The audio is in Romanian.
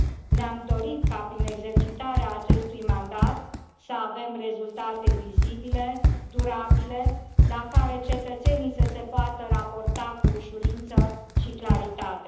Ne am dorit ca prin exercitarea acestui mandat, să avem rezultate vizibile, durabile, la care cetățenii să se poată raporta cu ușurință și claritate.